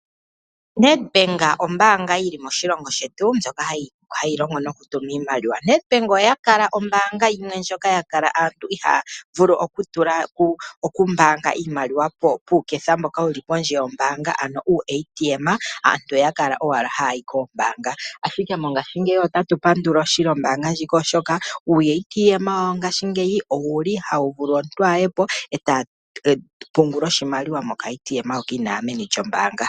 Nedbank ombaanga yi li moshilongo shetu ndjoka hayi longo nokutuma iimaliwa. Nedbank oya kala ombaanga ndjoka aantu ya kala ihaya vulu okutula iimaliwa pomashina gopondje, ano uuATM. Aantu oya kala owala haya yi koombaanga, ashike mongashingeyi otatu pandula ombaanga ndjika oshoka uuATM wawo ngaashingeyi ohawu vulu okulongithwa okutula oshimaliwa komapungulilo gombaanga inaaya meni lyombaanga.